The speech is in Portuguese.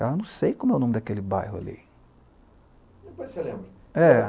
Eu não sei como é o nome daquele bairro ali. Depois você lembra. É.